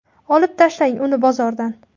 Olib tashlang uni bozordan.